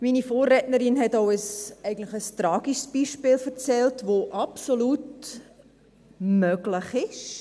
Meine Vorrednerin hat eigentlich auch ein tragisches Beispiel erzählt, das absolut möglich ist.